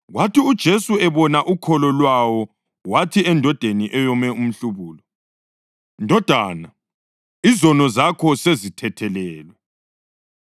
Kwathi uJesu ebona ukholo lwawo wathi endodeni eyome umhlubulo, “Ndodana, izono zakho sezithethelelwe.”